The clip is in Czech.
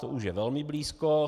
To už je velmi blízko.